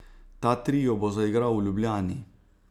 Ta trio bo zaigral v Ljubljani.